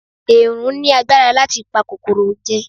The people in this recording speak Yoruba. Èèrùn ní agbára láti pa kòkòrò jẹ